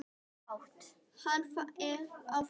Á fætur með þig!